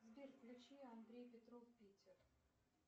сбер включи андрей петров питер